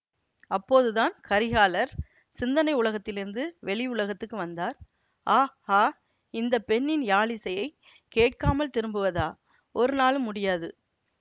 அப்போதுதான் கரிகாலர் சிந்தனை உலகத்திலிருந்து வெளி உலகத்துக்கு வந்தார் ஆ ஆ இந்த பெண்ணின் யாழிசையைக் கேட்காமல் திரும்புவதா ஒரு நாளும் முடியாது